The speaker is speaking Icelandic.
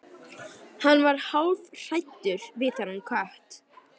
Hann varð hálfhræddur við þennan kött.